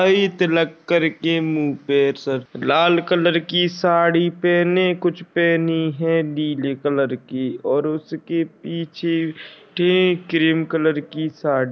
आई तिलक कर के मुँह पे सर लाल कलर की साड़ी पहने कुछ पहनी है नीले कलर की और उसके पीछे थी क्रीम कलर की साड़ी --